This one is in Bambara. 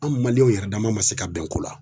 An maliyɛn yɛrɛdama ma se ka bɛn ko la